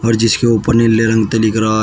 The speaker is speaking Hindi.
जिसके ऊपर नीले रंग ते लिख रहा--